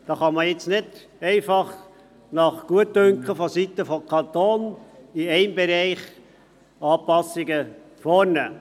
Da kann man jetzt nicht einfach nach Gutdünken vonseiten des Kantons in einem Bereich Anpassungen vornehmen.